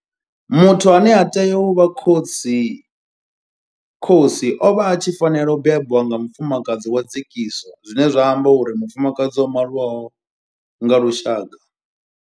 Muthu ane a tea u vha khosi o vha a tshi fanela u bebwa nga mufumakadzi wa dzekiso zwine zwa amba uri mufumakadzi o maliwaho nga lushaka.